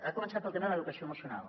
ha començat pel tema de l’educació emocional